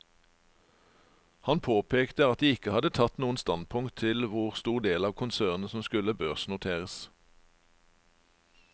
Han påpekte at de ikke hadde tatt noen standpunkt til hvor stor del av konsernet som skulle børsnoteres.